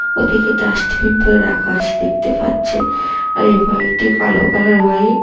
ওদিকে ডাস্টবিন -টায় রাখা আছে দেখতে পাচ্ছেন আর এই বাইক -টি কালো কালার বা-ইক ।